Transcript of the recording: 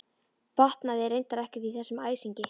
Botnaði reyndar ekkert í þessum æsingi.